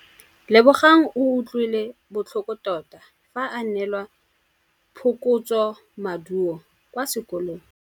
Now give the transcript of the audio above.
Lebogang o utlwile botlhoko tota fa a neelwa phokotsômaduô kwa sekolong.